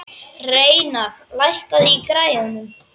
Reynar, lækkaðu í græjunum.